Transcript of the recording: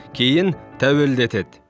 кейін тәуелді етеді